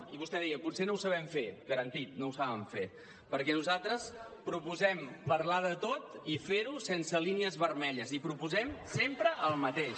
i vostè deia potser no ho sabem fer garantit no ho saben fer perquè nosaltres proposem parlar de tot i fer ho sense línies vermelles i proposem sempre el mateix